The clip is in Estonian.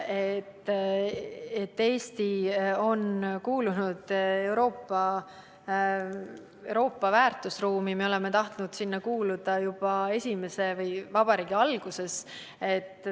See, et Eesti on kuulunud Euroopa väärtusruumi – me oleme tahtnud sinna kuuluda juba vabariigi algusest alates.